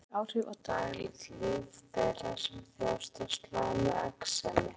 Exem hefur marktæk áhrif á daglegt líf þeirra sem þjást af slæmu exemi.